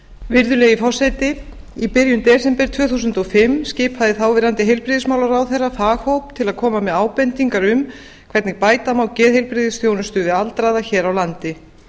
virðulegi forseti í byrjun desember tvö þúsund og fimm skipaði þáverandi heilbrigðismálaráðherra faghóp til að koma með ábendingar um hvernig bæta má geðheilbrigðisþjónustu við aldraða hér á landi